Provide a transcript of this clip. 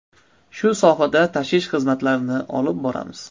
Shu sohada tashish xizmatlarini olib boramiz.